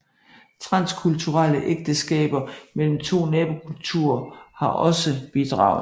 Transkulturelle ægteskaber mellem to nabokulturer har også bidraget